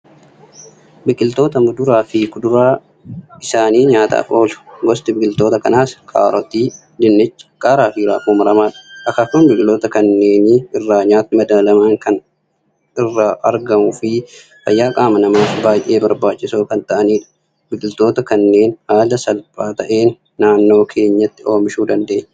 Biqiltoota muduraa fi kuduraan isaanii nyaataaf oolu. Gosti biqiltoota kanaas: kaarotii, dinnicha, qaaraa fi raafuu maramaadha. Akaakuun biqiltoota kanneenii irraa nyaatni madaalamaan kan irraa argamuu fi fayyaa qaama namaaf baay'ee barbaachisoo kan ta'anidha. Biqiltoota kanneen haala salphaa ta'een naannoo keenyatti oomishuu dandeenya.